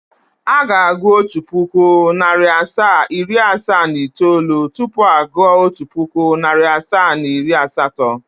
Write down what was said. Aga agụụ otu puku, nari asaa, iri asaa na itoolu tupu agu otu puku, nari asaa na iri asatọ.